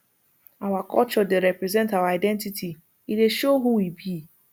our culture dey represent our identity e dey show who we be